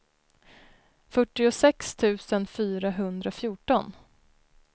fyrtiosex tusen fyrahundrafjorton